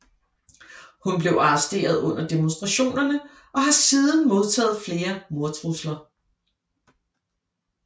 Hun blev arresteret under demonstrationerne og har siden modtaget flere mordtrusler